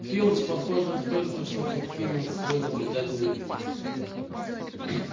филч похоже только что покинул свой наблюдательный пост